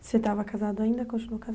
Você estava casado ainda, continuou